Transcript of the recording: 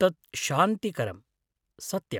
तत् शान्तिकरम्, सत्यम्।